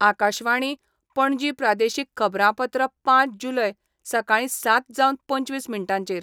आकाशवाणी, पणजी प्रादेशीक खबरांपत्र पांच जुलय, सकाळी सात जावन पंचवीस मिनटांचेर